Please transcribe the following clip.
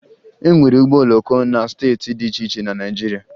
E nwere ụgbọ oloko na steeti dị iche iche na Naịjirịa